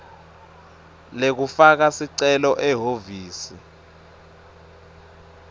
lekufaka sicelo ehhovisi